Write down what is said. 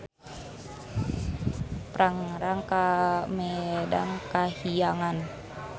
Prangrang ka Medangkahiyangan.